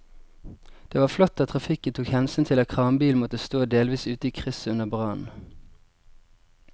Det var flott at trafikken tok hensyn til at kranbilen måtte stå delvis ute i krysset under brannen.